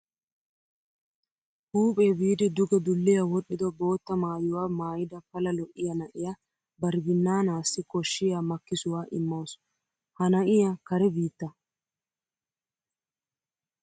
Huuphee biidi duge dulliya wodhdhido bootta maayuwa maayida pala lo'iya na'iya bari binnaanaassi koshshiyaa makkisuwa immawusu. Ha na'iya kare biitta.